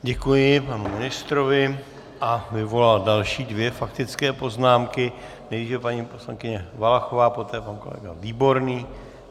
Děkuji panu ministrovi a vyvolal další dvě faktické poznámky, nejdříve paní poslankyně Valachová, poté pan kolega Výborný.